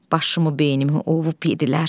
Başımı beynimi ovu yeddilər.